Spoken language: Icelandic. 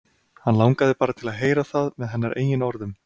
Hann langaði bara til að heyra það með hennar eigin orðum.